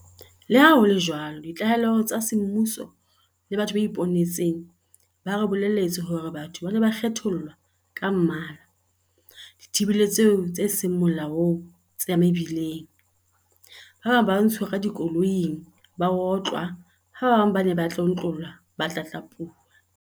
Leha ho le jwalo ditlaleho tsa semmuso le batho ba ipone tseng ba re bolelletse hore batho ba ne ba kgethollwa ka mmala dithibelong tse seng molaong tsa mebileng, ba bang ba ntshuwa ka dikoloing ba otlwa ha ba bang ba ne ba tlontlollwa ba tlatlapuwa.